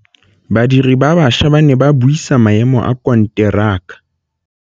Badiri ba baša ba ne ba buisa maêmô a konteraka.